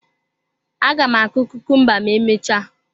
M ga-akụ kukumba ma emechaa.